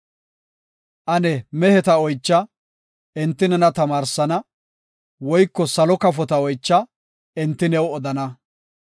Ane meheta oycha; enti nena tamaarsana; Woyko salo kafota oycha; enti new odana.